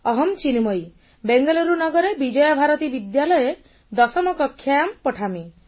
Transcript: ଅହମ୍ ଚିନ୍ମୟୀ ବେଙ୍ଗାଲୁରୁ ନଗରେ ବିଜୟଭାରତୀ ବିଦ୍ୟାଳୟେ ଦଶମ କକ୍ଷ୍ୟାୟାମ୍ ପଠାମି